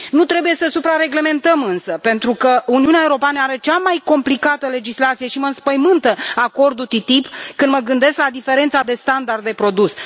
Nu trebuie să suprareglementăm însă, pentru că Uniunea Europeană are cea mai complicată legislație și mă înspăimântă acordul TTIP când mă gândesc la diferența de standard de produs.